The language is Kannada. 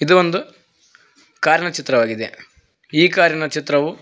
ಇದು ಒಂದು ಕಾರಿನ ಚಿತ್ರವಾಗಿದೆ ಈ ಕಾರಿನ ಚಿತ್ರವು--